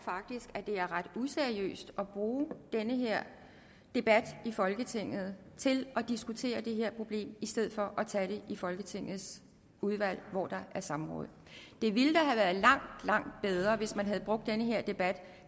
er ret useriøst at bruge den her debat i folketinget til at diskutere det her problem i stedet for at tage det i folketingets udvalg hvor der kan samråd det ville da have været langt langt bedre hvis man havde brugt den her debat